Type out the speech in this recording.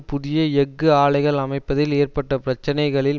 புதிய எஃகு ஆலைகள் அமைப்பதில் ஏற்பட்ட பிரச்சினைகளில்